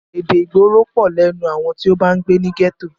Èdè ìgboro pọ̀ lẹ́nu àwọn tí o bá ń gbé ní gẹ́tò.